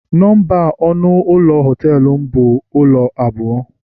Nọmba ọnụ ụlọ họtelum bụ ọnụ ụlọ abụọ